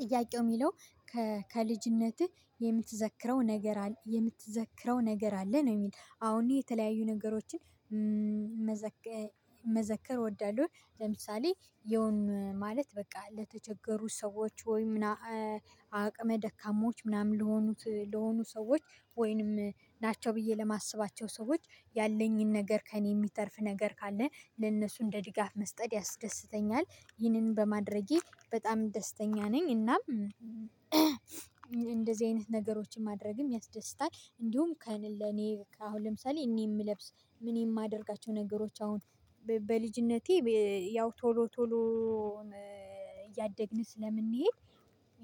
ጥያቄው የሚለው ከልጅነትህ የምትዘክረው ነገር አለ የምትዘክረው ነገር አለ ነው የሚል? አው እኔ የተለያዩ ነገሮችን መዘከር መዘከር ወዳለው ለምሳሌ የሆነ ማለት በቃ ለተቸገሩት ሰዎች ወይ ምናምን አቅመ ደካማዎች ምናምን ለሆኑት ለሆኑ ሰዎች ወይንም ናቸው ብዬ ለማስባቸው ሰዎች ያለኝን ነገር ከእኔ የሚተርፍ ነገር ካለ ለእነሱ እንደ ድጋፍ መስጠት ያስደስተኛል። ይህንን በማድረጌ በጣም ደስተኛ ነኝ። እናም እንደዚህ አይነት ነገሮችን ማድረግም ያስደስታል። እንዲሁም ከእኔ አሁን ለምሳሌ እኔ የምለብስ እኔ የማደርጋቸው ነገሮች አሁን በልጅነቴ ያው ቶሎ ቶሎ እያደግን ስለምንሄድ